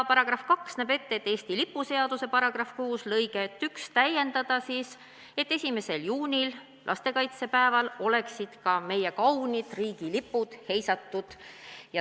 Paragrahv 2 näeb ette, et Eesti lipu seaduse § 6 lõiget 1 täiendada nii, et 1. juunil, lastekaitsepäeval, oleksid ka meie kaunid riigilipud heisatud.